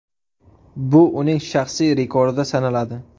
Bu uning shaxsiy rekordi sanaladi.